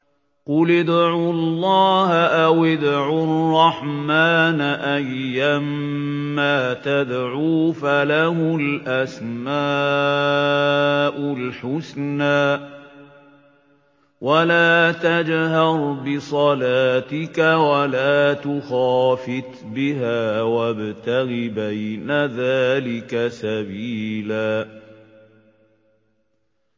قُلِ ادْعُوا اللَّهَ أَوِ ادْعُوا الرَّحْمَٰنَ ۖ أَيًّا مَّا تَدْعُوا فَلَهُ الْأَسْمَاءُ الْحُسْنَىٰ ۚ وَلَا تَجْهَرْ بِصَلَاتِكَ وَلَا تُخَافِتْ بِهَا وَابْتَغِ بَيْنَ ذَٰلِكَ سَبِيلًا